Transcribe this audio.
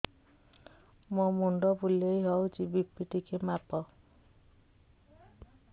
ମୋ ମୁଣ୍ଡ ବୁଲେଇ ହଉଚି ବି.ପି ଟିକେ ମାପ